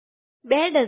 ૨ dozen